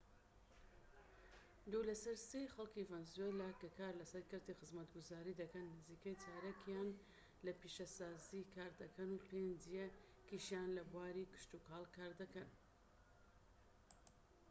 دوو لە سەر سێی خەڵکی ڤەنزوێلا کە کار لە کەرتی خزمەتگوزاری دەکەن نزیکەی چارەکیان لە پیشەسازی کار دەکەن و پێنجیەکیشیان لە بواری کشتوکاڵ کار دەکەن